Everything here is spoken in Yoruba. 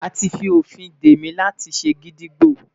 A ti fi ofin de mi lati gídígbò